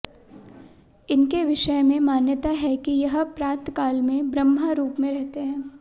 इनके विषय में मान्यता है कि यह प्रातः काल में ब्रह्मा रूप में रहते हैं